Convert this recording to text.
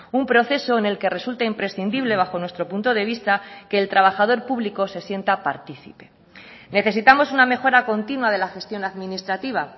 un proceso en el que resulta imprescindible bajo nuestro punto de vista que el trabajador público se sienta participe necesitamos una mejora continua de la gestión administrativa